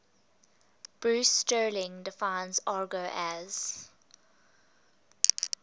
bruce sterling defines argot as